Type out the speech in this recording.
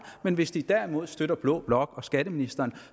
men hvis de derimod støtter blå blok og skatteministeren